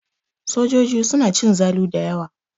Sojoji suna cin zalu da yawa.